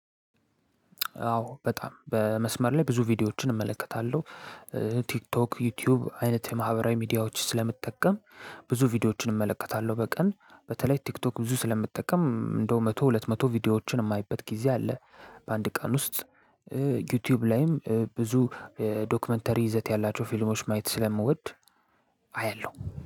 አዎ በጣም በመስመር ላይ ብዙ ቪዲዮዎችን እመለከታለሁ። ቲክቶክ ዩቲዩብ አይነት የማህበራዊ ሚዲያዎች ስለምጠቀም ብዙ ቪዲዮዎችን እመለከታለሁ በቀን። በተለይ ቲክቶክ ብዙ ስለምጠቀም እንደው መቶ ሁለት መቶ ቪዲዮዎችን የማይበት ጊዜ አለ በአንድ ቀን ውስጥ ዩቲዩብ ላይም ብዙ ዶክመንተሪ ይዘት ያላቸው ፊልሞች ማየት ስለምወድ አያለሁ